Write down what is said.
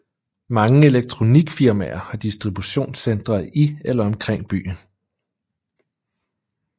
Mange elektronikfirmaer har distributionscentre i eller omkring byen